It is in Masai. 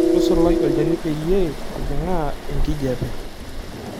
Tusulaa olchani peyie ejing'aa enkijiape.